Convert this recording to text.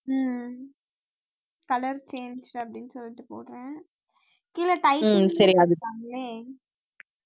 ஹம் colour change அப்படின்னு சொல்லிட்டு போடறேன் கீழே